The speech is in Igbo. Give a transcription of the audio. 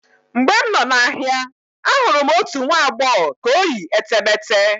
Mgbe m nọ n'ahịa, ahụrụ m otu nwa agbọghọ ka o yi etemeete.